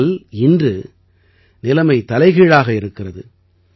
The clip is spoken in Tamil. ஆனால் இன்று நிலைமை தலைகீழாக இருக்கிறது